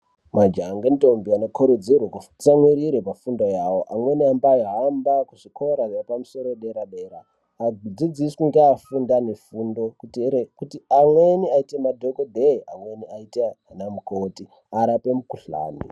Majaha ngentombi vanokurudzirwe kutsamwirire pafundo yawo amweni anombaa hamba kuzvikora zvepamusoro dera dera adzidziswe ngeafunda mifundo kuitire kuti amweni aite madhokodheya amweni aite ana mukhoti arape mikhuhlani.